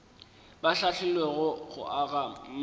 ba hlahlilwego go aga matlwana